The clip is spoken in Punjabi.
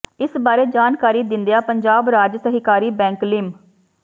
ਇਸ ਬਾਰੇ ਜਾਣਕਾਰੀ ਦਿੰਦਿਆਂ ਪੰਜਾਬ ਰਾਜ ਸਹਿਕਾਰੀ ਬੈਂਕ ਲਿਮ